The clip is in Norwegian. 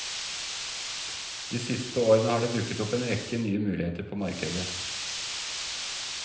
De siste årene har det dukket opp en rekke nye muligheter på markedet.